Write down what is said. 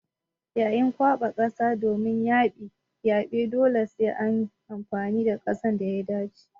Yayin kwaɓa kasa domin yaɓe dole sai an yi amfani da kasar da ta dace.